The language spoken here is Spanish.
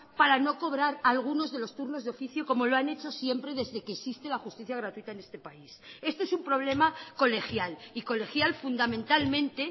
para no cobrar algunos de los turnos de oficio como lo han hecho siempre desde que existe la justicia gratuita en este país esto es un problema colegial y colegial fundamentalmente